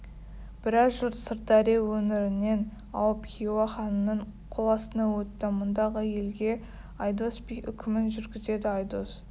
біраз жұрт сырдария өңірінен ауып хиуа ханының қоластына өтті мұндағы елге айдос би үкімін жүргізеді айдос